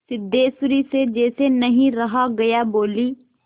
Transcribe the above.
सिद्धेश्वरी से जैसे नहीं रहा गया बोली